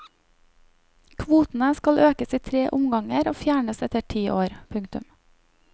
Kvotene skal økes i tre omganger og fjernes etter ti år. punktum